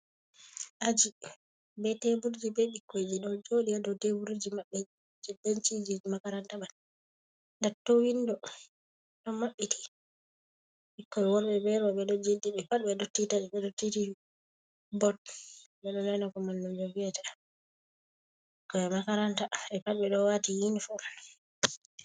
Aji be teburji be ɓikkoyji ɗo jooɗi a dow teburji maɓɓe jey benciji makaranta man. Datto winndo ɗo maɓɓiti ɓikkoy worɓe be rowɓe ɗo jeɗi, ɓe pat ɓe ɗo titi bot. Ɓe rena ko mallumjo wi'ata. Ɓikkoy makaranta, ɓe pat ɓe ɗo waati inifom.